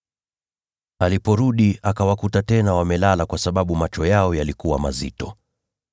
Aliporudi, akawakuta tena wamelala kwa sababu macho yao yalikuwa mazito.